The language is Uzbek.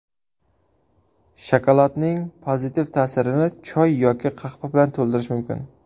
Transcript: Shokoladning pozitiv ta’sirini choy yoki qahva bilan to‘ldirish mumkin.